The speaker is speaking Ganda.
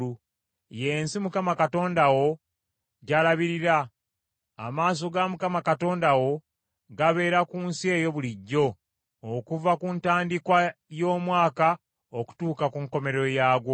Ye nsi Mukama Katonda wo gy’alabirira. Amaaso ga Mukama Katonda wo gabeera ku nsi eyo bulijjo, okuva ku ntandikwa y’omwaka okutuuka ku nkomerero yaagwo.